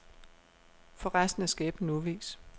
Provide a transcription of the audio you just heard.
For resten er skæbnen uvis.